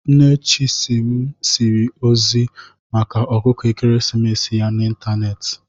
Nne Chisim ziri ozi maka ọkụkọ ekeresimesi ya n'ịntanetị.